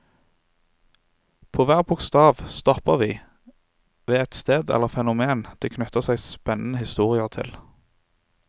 På hver bokstav stopper vi ved et sted eller fenomen det knytter seg spennende historier til.